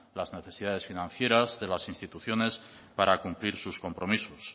las necesidades financieras de las instituciones para cumplir sus compromisos